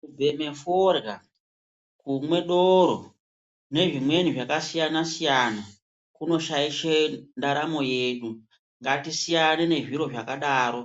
Kubheme forya, kumwe doro nezvimweni zvakasiyana siyana kunoshaishe ndaramo yedu. Ngatisiyane nezviro zvakadaro